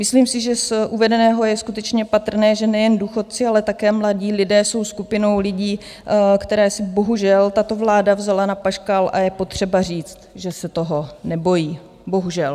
Myslím si, že z uvedeného je skutečně patrné, že nejen důchodci, ale také mladí lidé jsou skupinou lidí, které si bohužel tato vláda vzala na paškál, a je potřeba říct, že se toho nebojí bohužel.